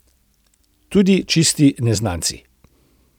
Tudi čisti neznanci.